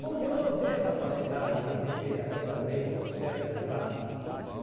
Porque ela não tem a capacidade de entender ainda bem o certo do errado.